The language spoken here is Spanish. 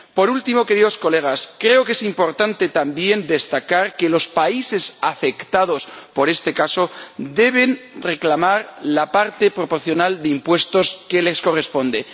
Por último, queridos colegas, creo que es importante también destacar que los países afectados por este caso deben reclamar la parte proporcional de impuestos que les corresponde.